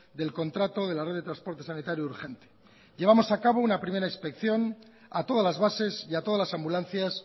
del contrato de la red de transporte sanitario urgente llevamos a cabo una primera inspección a todas las bases y a todas las ambulancias